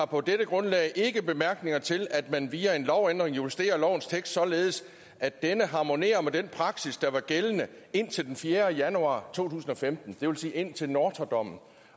på dette grundlag ikke har bemærkninger til at man via en lovændring justerer lovens tekst således at denne harmonerer med den praksis der var gældende indtil den fjerde januar to tusind og femten det vil sige indtil nortra dommen